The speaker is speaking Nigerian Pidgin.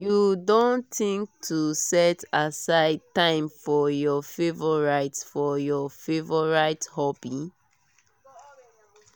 you don think to set aside time for your favorite for your favorite hobby?